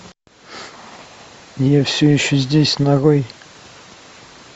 я все еще здесь нарой